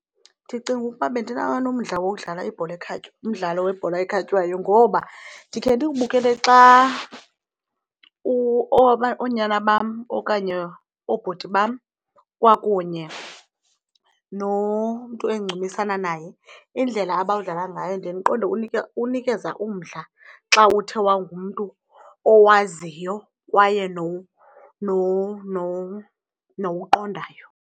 Ndicinga ukuba bendinganomdla wokudlala ibhola umdlalo webhola ekhatywayo ngoba ndikhe ndiwubukele xa oonyana bam okanye oobhuti bam kwakunye nomntu endincumisana naye indlela abawudlala ngayo, ndiye ndiqonde unikeza umdla xa uthe wangumntu owaziyo kwaye nowuqondayo.